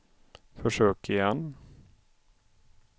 försök igen